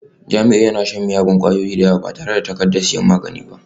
Jamiu yana shan miyagun kwayoyi da yawa, yana sha ba tare da takardar sayan magani ba